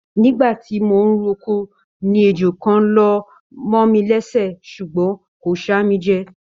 Nígbàtí mo n r'oko ní ejò kàn lọmọ mí lẹsẹ ṣugbọn kò ṣa mí jẹ.